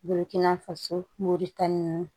Bolokina faso moritani